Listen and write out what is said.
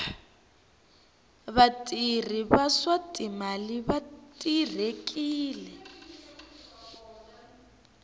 vatirhi va swa timali va terekile